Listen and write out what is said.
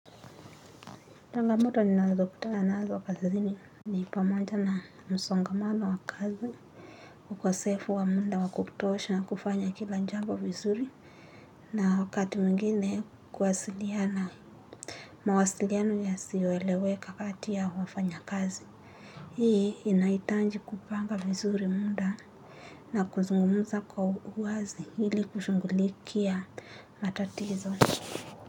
Changamoto ninaweza kutana nazo kazini. Ni pamoja na msongamano wa kazi. Ukosefu wa muda wa kutosha kufanya kila jambo vizuri. Na wakati mwigine kuwasiliana. Mawasiliano yasioeleweka kati ya wafanyakazi. Hii inahitaji kupanga vizuri muda. Na kuzungumza kwa uwazi ili kushughulikia matatizo.